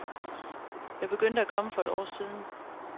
Jeg begyndte at komme for et år siden.